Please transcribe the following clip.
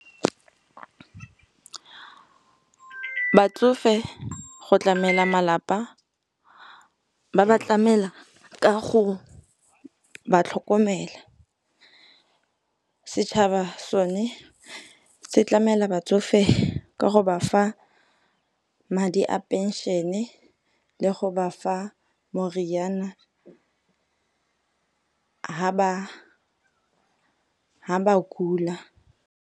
Batsofe go tlamela malapa, ba ba tlamela ka go ba tlhokomela. Setšhaba sone se tlamela batsofe ka go ba fa madi a pension-e le go bafa moriana ha ba kula.